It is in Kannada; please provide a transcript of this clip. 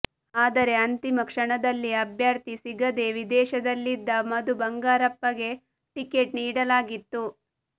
ಆದರೆ ಅಂತಿಮ ಕ್ಷಣದಲ್ಲಿ ಅಭ್ಯರ್ಥಿ ಸಿಗದೇ ವಿದೇಶದಲ್ಲಿದ್ದ ಮಧು ಬಂಗಾರಪ್ಪಗೆ ಟಿಕೆಟ್ ನೀಡಲಾಗಿತ್ತು